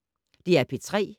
DR P3